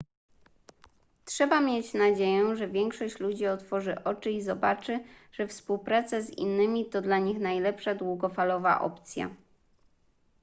trzeba mieć nadzieję że większość ludzi otworzy oczy i zobaczy że współpraca z innymi to dla nich najlepsza długofalowa opcja